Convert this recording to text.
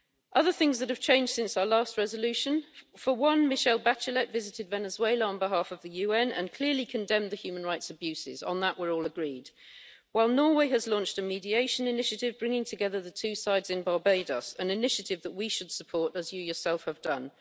Other things that have changed since our last resolution for one, Michelle Bachelet visited Venezuela on behalf of the UN and clearly condemned the human rights abuses on that we're all agreed while Norway has launched a mediation initiative, bringing together the two sides in Barbados. This is an initiative that we should support, as you yourself have done.